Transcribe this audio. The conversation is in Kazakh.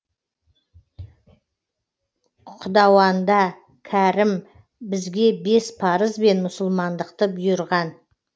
құдауанда кәрім бізге бес парыз бен мұсылмандықты бұйырған